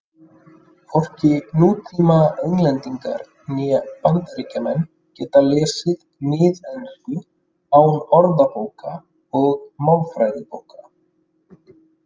Hvorki nútíma Englendingar né Bandaríkjamenn geta lesið miðensku án orðabóka og málfræðibóka.